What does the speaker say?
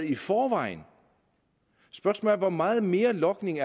i forvejen spørgsmålet er hvor meget mere logning